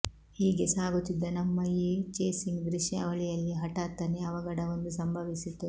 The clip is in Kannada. ಹೀಗೆ ಸಾಗುತ್ತಿದ್ದ ನಮ್ಮ ಈ ಚೇಸಿಂಗ್ ದೃಶ್ಯಾವಳಿಯಲ್ಲಿ ಹಠಾತ್ತನೆ ಅವಘಡವೊಂದು ಸಂಭವಿಸಿತು